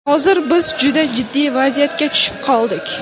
Hozir biz juda jiddiy vaziyatga tushib qoldik.